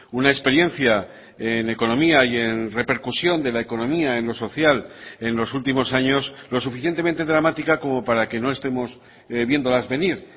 una experiencia en economía y en repercusión de la economía en lo social en los últimos años lo suficientemente dramática como para que no estemos viéndolas venir